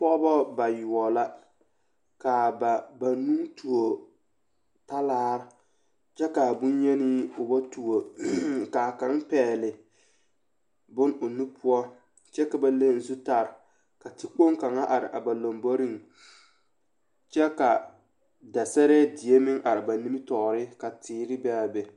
Pɔgebɔ ba yoɔbo la k'a ba banuu tuo talaare kyɛ k'a bonyenii o ba tuo k'a kaŋ pɛgele bone o nu poɔ kyɛ ka ba leŋ zutare ka tekpoŋ kaŋa are a ba lomboriŋ kyɛ ka dasɛrɛɛ die meŋ are a ba nimitɔɔre ka teere be a be.